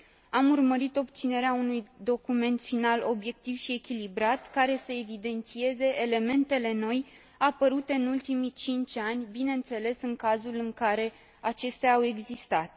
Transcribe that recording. Am urmărit obținerea unui document final obiectiv și echilibrat, care să evidențieze elementele noi apărute în ultimii cinci ani, bineînțeles, în cazul în care acestea au existat.